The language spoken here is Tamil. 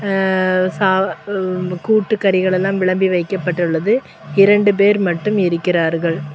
அஅ சா கூட்டு கறிகள் எல்லாம் விளம்பி வைக்கப்பட்டுள்ளது இரண்டு பேர் மட்டும் இருக்கிறார்கள்.